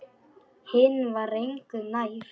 Hinn var engu nær.